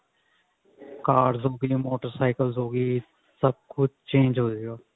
cars ਹੋਗੀ motorcycle ਸਭ ਕੁਛ change ਹੋਜੇਗਾ